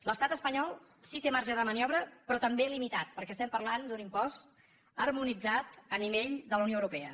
l’estat espanyol sí que té marge de maniobra però també limitat perquè estem parlant d’un impost harmonitzat a nivell de la unió europea